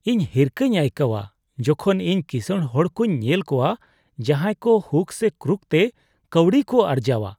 ᱤᱧ ᱦᱤᱨᱠᱷᱟᱹᱧ ᱟᱹᱭᱠᱟᱹᱣᱼᱟ ᱡᱚᱠᱷᱚᱱ ᱤᱧ ᱠᱤᱥᱟᱹᱬ ᱦᱚᱲ ᱠᱚᱧ ᱧᱮᱞ ᱠᱚᱣᱟ ᱡᱟᱦᱟᱸᱭ ᱠᱚ ᱦᱩᱠ ᱥᱮ ᱠᱨᱩᱠ ᱛᱮ ᱠᱟᱹᱣᱰᱤ ᱠᱚ ᱟᱨᱡᱟᱣᱼᱟ ᱾